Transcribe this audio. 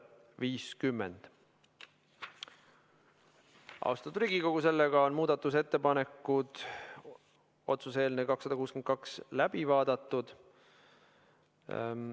Oleme otsuse eelnõu 262 kohta esitatud muudatusettepanekud läbi vaadanud.